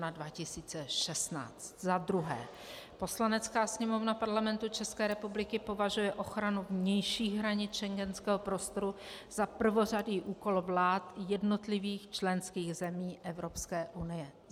Za druhé: Poslanecká sněmovna Parlamentu České republiky považuje ochranu vnějších hranic schengenského prostoru za prvořadý úkol vlád jednotlivých členských zemí Evropské unie.